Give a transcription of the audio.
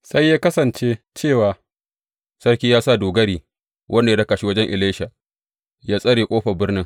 Sai ya kasance cewa Sarki ya sa dogari wanda ya raka shi wajen Elisha ya tsare ƙofar birnin.